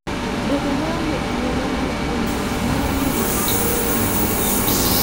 Bedo maonge thuolo mar puonjruok nyalo miyo ng'ato kik dhi maber e wuoth.